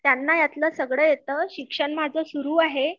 त्यांना यातलं सगळ येत शिक्षण माझं सुरु आहे